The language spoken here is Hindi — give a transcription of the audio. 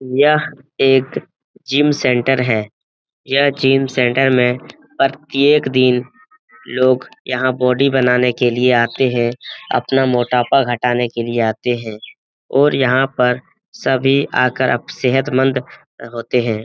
यह एक जिम सेंटर है यह जिम सेंटर में प्रत्येक दिन लोग यहाँ बॉडी बनाने के लिए आते हैं अपना मोटापा घटाने के लिए आते हैं और यहाँ पर सभी आकर सेहतमंद होते हैं।